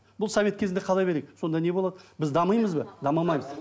бұл совет кезінде қала берейік сонда не болады біз дамимыз ба дамымаймыз